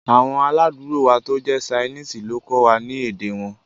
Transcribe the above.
Awọn aládùúgbò wa to jẹ̀ sainiisi lo kọ́ wa ni èdè wọn